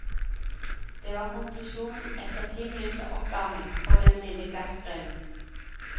Det var konklusjonen etter ti minutter oppvarming for den lille gassgrillen.